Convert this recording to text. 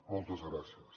moltes gràcies